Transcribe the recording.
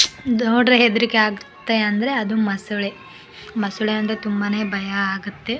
ನೋಡ್ರೆ ಹೆದ್ರಿಕೆ ಆಗುತ್ತೆ ಅಂದ್ರೆ ಅದು ಮೊಸಳೆ ಮೊಸಳೆ ಅಂದ್ರೆ ತುಂಬಾನೇ ಭಯ ಅಗುತ್ತೆ --